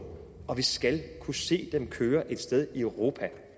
og vi skal kunne se dem køre et sted i europa